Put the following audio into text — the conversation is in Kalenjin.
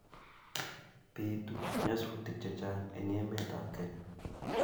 Bitu nyasutik chechang eng emetab Kenya